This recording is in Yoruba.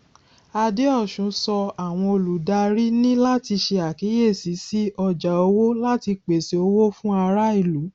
adeosun sọ àwọn olùdarí ní láti ṣe àkíyèsí sí ọjà owó láti pèsè owó fún ará ìlú